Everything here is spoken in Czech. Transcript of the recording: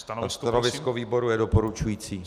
Stanovisko výboru je doporučující.